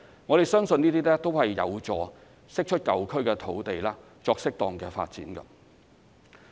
我們相信這些均有助釋出舊區土地作適當發展。